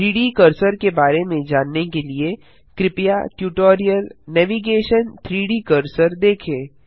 3डी कर्सर के बारे में जानने के लिए कृपया ट्यूटोरियल नेविगेशन - 3डी कर्सर देखें